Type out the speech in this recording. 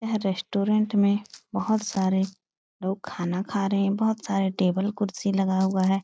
यह रेस्त्रौंत में बहुत सारे लोग खाना खा रहे है। बोहोत सारे टेबल कुर्सी लगा हुआ है।